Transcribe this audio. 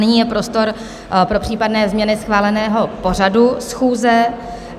Nyní je prostor pro případné změny schváleného pořadu schůze.